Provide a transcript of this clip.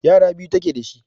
yara biyu take dashi